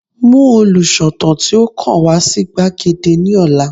Mú olùsọ̀tàn tí ó kàn wá sí gbàgede ní ọ̀la